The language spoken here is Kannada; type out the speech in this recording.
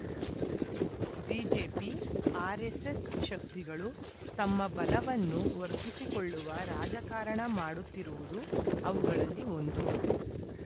ಬಿಜೆಪಿಆರ್‌ಎಸ್‌ಎಸ್‌ ಶಕ್ತಿಗಳು ತಮ್ಮ ಬಲವನ್ನು ವರ್ಧಿಸಿಕೊಳ್ಳುವ ರಾಜಕಾರಣ ಮಾಡುತ್ತಿರುವುದೂ ಅವುಗಳಲ್ಲಿ ಒಂದು